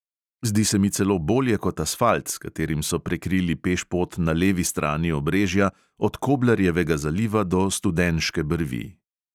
Zdi se mi celo bolje kot asfalt, s katerim so prekrili pešpot na levi strani obrežja, od koblarjevega zaliva do studenške brvi.